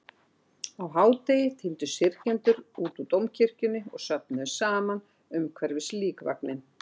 Á hádegi tíndust syrgjendur út úr Dómkirkjunni og söfnuðust saman umhverfis líkvagninn.